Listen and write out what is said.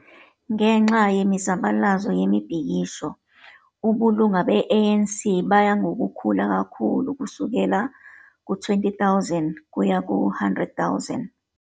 Ngenxa yemizabalazo yemibhikisho, ubulunga be-ANC baya ngokukhula kakhulu ukusukela ku 20 000 ukuya ku 100 000,